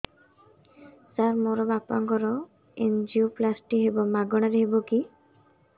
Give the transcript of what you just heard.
ସାର ମୋର ବାପାଙ୍କର ଏନଜିଓପ୍ଳାସଟି ହେବ ମାଗଣା ରେ ହେବ କି